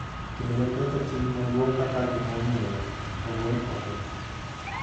kendo ketho Chik Maduong’ kaka gimomiyo ogol oko.